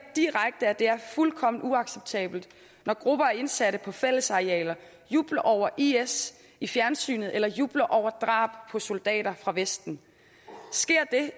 direkte at det er fuldkommen uacceptabelt når grupper af indsatte på fællesarealer jubler over is i fjernsynet eller jubler over drab på soldater fra vesten sker det